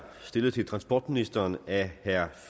stillet til transportministeren af herre